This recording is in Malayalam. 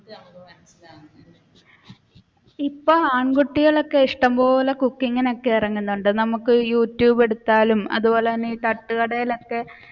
ഇപ്പൊ ആണ്കുട്ടികളൊക്കെ ഇഷ്ടംപോലെ cooking ഒക്കെ ഇറങ്ങുന്നുണ്ട്. നമുക്ക് യൂട്യൂബ് എടുത്താലും അതുപോലെതന്നെ തട്ടുകടയിലൊക്കെ